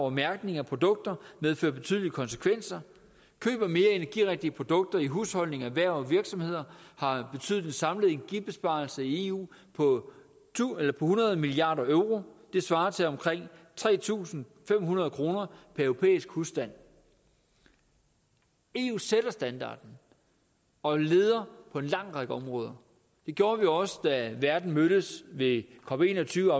og mærkning af produkter medfører betydelige konsekvenser køb af mere energirigtige produkter i husholdninger erhverv og virksomheder har betydet en samlet energibesparelse i eu på hundrede milliard euro det svarer til omkring tre tusind fem hundrede kroner per europæisk husstand eu sætter standarden og leder på en lang række områder det gjorde vi også da verden mødtes ved cop21